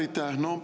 Jaa, aitäh!